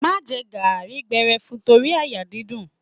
Má jẹ garri gbẹrẹfun torí àyà dídùn.